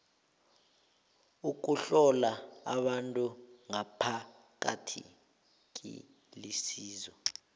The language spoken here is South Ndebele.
ukuhlola abantu ngaphakathi kulisizo